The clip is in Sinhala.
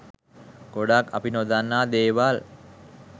ගොඩක් අපි නොදන්නා දේවල්